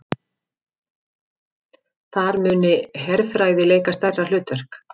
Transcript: Þar muni herfræði leika stærra hlutverk